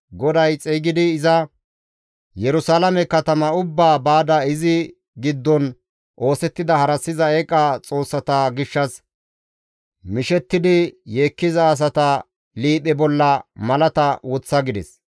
GODAY xeygidi iza, «Yerusalaame katama ubbaa baada izi giddon oosettida harassiza eeqa xoossata gishshas mishettidi yeekkiza asata liiphe bolla malata woththa» gides.